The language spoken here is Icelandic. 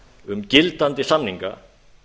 um gildandi samninga